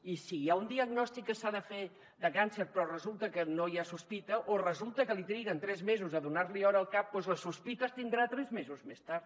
i si hi ha un diagnòstic que s’ha de fer de càncer però resulta que no hi ha sospita o resulta que triguen tres mesos a donar li hora al cap doncs la sospita es tindrà tres mesos més tard